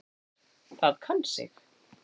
Það kann sig.